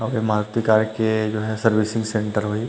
अऊ ए मारुती कार के जो है सर्विसिंग_सेंटर होही।